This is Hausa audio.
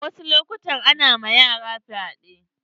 A wasu lokutan ana ma yara fyaɗe.